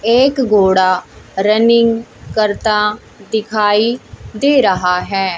एक घोड़ा रनिंग करता दिखाई दे रहा है।